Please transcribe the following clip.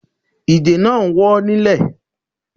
Ige náà ń wọ́ ilẹ̀.